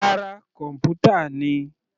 Rárá, kọ̀npútà ni.